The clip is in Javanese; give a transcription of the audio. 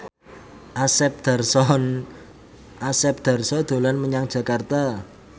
Asep Darso dolan menyang Jakarta